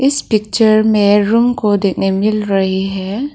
इस पिक्चर में रूम को देखने मिल रही है।